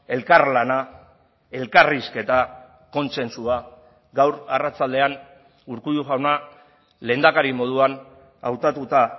elkarlana elkarrizketa kontsentsua gaur arratsaldean urkullu jauna lehendakari moduan hautatuta